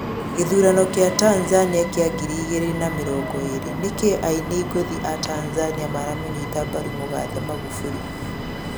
gĩthurano kĩa Tanzania kĩa ngĩrĩ ĩgĩrĩ na mĩrongo ĩrĩ: nĩkĩĩ aĩnĩ ngũthĩ a Tanzania maramũnyĩta mbarũ mũgathe Magufuli